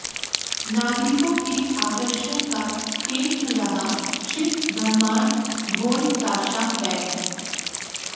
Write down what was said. नागरिकों के आकर्षण का केन्द्र रहा शिव ब्रम्हाण्ड ढोलताशा बैण्ड